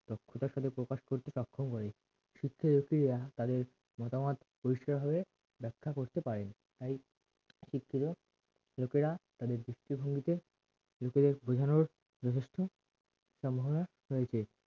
সক্ষম করে শিক্ষিত ব্যাক্তিরা তাদের মতামত পরিষ্কার ভাবে ব্যাখ্যা করতে পারে তাই শিক্ষিত লোকেরা তাদের দৃষ্টিভঙ্গিকে লোকেদের বোঝানোর যথেষ্ট সম্ভবনা রয়েছে